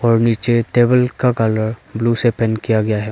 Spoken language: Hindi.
और नीचे टेबल का कलर ब्लू से पेंट किया गया है।